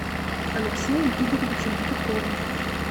алексеем игоревичем петуховым